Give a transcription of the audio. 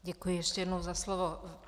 Děkuji ještě jednou za slovo.